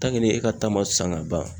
Tanke e ka ta ma san ka ban